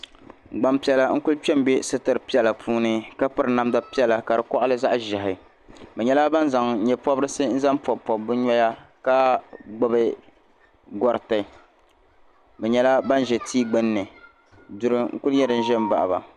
gbampiɛla n kuli kpe m-be sitiri piɛla puuni ka piri namdi piɛla ka di kɔɣili zaɣ' ʒehi bɛ nyɛla ban zaŋ nyepɔbirisi n zaŋ m-pɔbi pɔbi bɛ noya ka gbibi gɔriti bɛ nyɛla ban za tia gbinni duri n kuli nyɛ din za m-baɣi ba